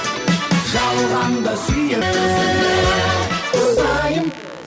жалғанда сүйіп айым